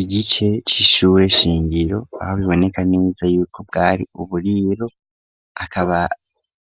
Igice c'ishure shingiro aho biboneka neza yuko bwari uburiro akaba